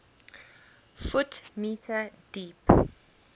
ft m deep